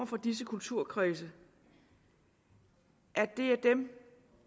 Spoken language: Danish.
fra disse kulturkredse at det er dem